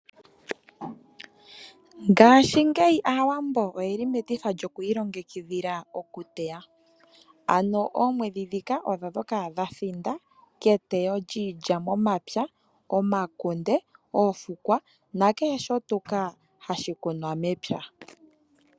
Ngashingeyi Aawambo oyeli metifa lyoku ilongekidhila okuteya, ano oomwedji dhika odho dhoka dha thinda keteyo lyiilya momapya. Omakunde, oofukwa nakehe tuu shoka hashi kunwa mepya.